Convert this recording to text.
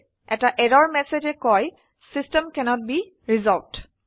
এটা এৰৰ মেছেজে কয় চিষ্টেম কেন্নত বে ৰিচল্ভড